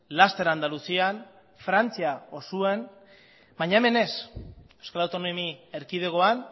laster andaluzian frantzia osoan baina hemen ez euskal autonomi erkidegoan